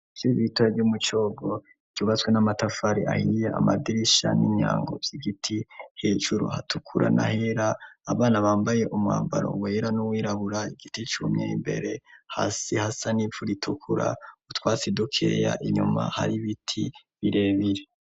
Ishure rito ryo Mucogo, ryubatswe n'amatafari ahiye, amadirisha n'imyango vy'igiti, hejuru hatukura n'ahera, abana bambaye umwambaro wera n'uwirabura, igiti cumye, imbere hasi hasa n'ivu ritukura, utwatsi dukeya, inyuma har'ibiti birebire.